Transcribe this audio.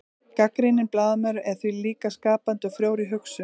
gagnrýninn blaðamaður er því líka skapandi og frjór í hugsun